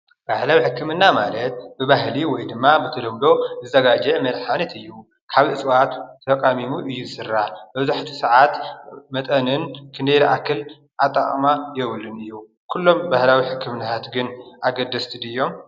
ባህላዊ ሕክምና ማለት ብባህሊ ወይ ድማ ብተለምዶ ዝዘጋጀ መድሓኒት እዩ። ካብ እፅዋት ተቓሚሙ እዩ ዝስራሕ መብዛሕቲኡ ሰዓት መጠንን ክንደየናይ ዝኣክል ኣጠቓቕማ የብሉን እዩ ።ኩሎም ባህላዊ ሕክምናታት ግን ኣገደስቲ ዲዮም?